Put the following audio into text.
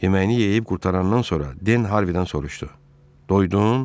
Yeməyini yeyib qurtarandan sonra Den Harvidən soruşdu: Doydun?